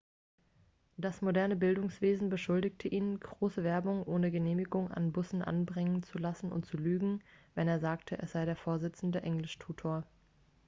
das moderne bildungswesen beschuldigte ihn große werbung ohne genehmigung an bussen anbringen zu lassen und zu lügen wenn er sagte er sei der vorsitzende englischtutor